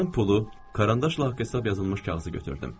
Mən pulu, karandaşla haqq hesab yazılmış kağızı götürdüm.